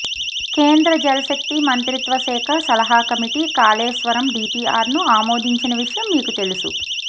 కేంద్ర జల్శక్తి మంత్రిత్వశాఖ సలహా కమిటీ కాళేశ్వరం డీపీఆర్ను ఆమోదించిన విషయం మీకు తెలుసు